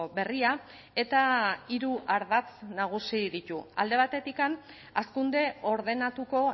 berria eta hiru ardatz nagusi ditu alde batetik hazkunde ordenatuko